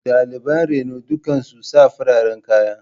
Daliban reno duka sun sa fararen kaya.